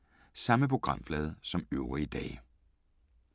Samme programflade som øvrige dage